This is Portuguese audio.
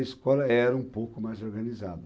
A escola era um pouco mais organizada.